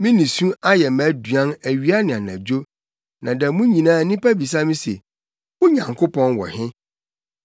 Me nisu ayɛ mʼaduan awia ne anadwo, na da mu nyinaa nnipa bisa me se: “Wo Nyankopɔn wɔ he?”